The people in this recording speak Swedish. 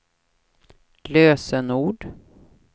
lösenord